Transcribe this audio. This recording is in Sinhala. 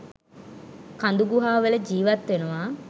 කඳු ගුහා වල ජිවත් වෙනවා